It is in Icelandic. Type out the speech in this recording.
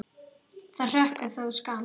Það hrökkvi þó skammt.